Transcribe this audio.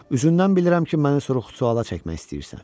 Üzündən bilirəm ki, məni sorğu-sualla çəkmək istəyirsən.